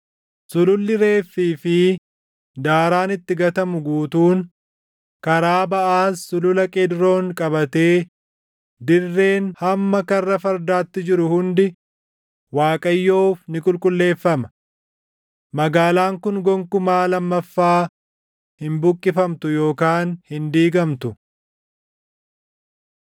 Sululli reeffii fi daaraan itti gatamu guutuun, karaa baʼaas sulula Qeedroon qabatee dirreen hamma Karra Fardaatti jiru hundi Waaqayyoof ni qulqulleeffama. Magaalaan kun gonkumaa lammaffaa hin buqqifamtu yookaan hin diigamtu.”